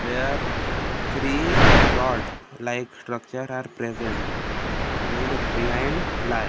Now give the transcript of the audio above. where three road like structures are present and behind lie --